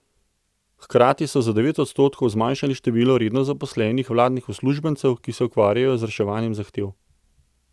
Hkrati so za devet odstotkov zmanjšali število redno zaposlenih vladnih uslužbencev, ki se ukvarjajo z reševanjem zahtev.